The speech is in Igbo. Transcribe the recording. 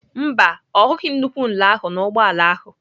Mba, ọ hụghị nnukwu nla ahụ n'ụgbọ ala ahụ.